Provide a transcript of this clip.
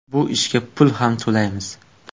Bu ishga pul ham to‘laymiz.